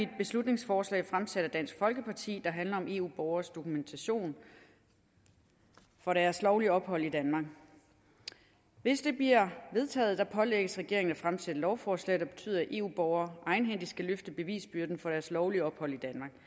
beslutningsforslag fremsat af dansk folkeparti der handler om eu borgeres dokumentation for deres lovlige ophold i danmark hvis det bliver vedtaget pålægges regeringen at fremsætte lovforslag der betyder at eu borgere egenhændigt skal løfte bevisbyrden for deres lovlige ophold i